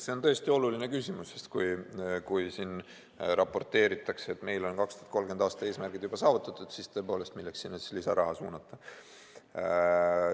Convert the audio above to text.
See on tõesti oluline küsimus, sest kui siin raporteeritakse, et meil on 2030. aasta eesmärgid juba saavutatud, siis tõepoolest, milleks sinna siis lisaraha suunata.